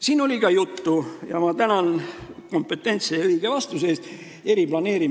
Siin oli ka juttu riigi eriplaneeringust – ma tänan kompetentse ja õige vastuse eest!